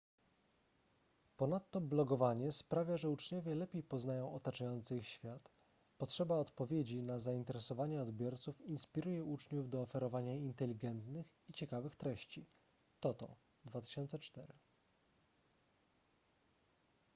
ponadto blogowanie sprawia że uczniowie lepiej poznają otaczający ich świat”. potrzeba odpowiedzi na zainteresowania odbiorców inspiruje uczniów do oferowania inteligentnych i ciekawych treści toto 2004